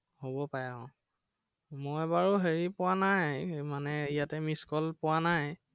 হব পাৰে আহ মই বাৰু হেৰি পোৱা নাই, মানে ইয়াতে missed call পোবা নাই।